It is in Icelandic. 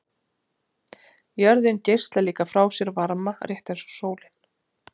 Jörðin geislar líka frá sér varma, rétt eins og sólin.